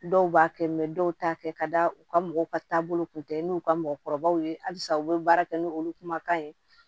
Dɔw b'a kɛ dɔw t'a kɛ ka da u ka mɔgɔw ka taabolo kun tɛ n'u ka mɔgɔkɔrɔbaw ye halisa u bɛ baara kɛ n'olu kumakan ye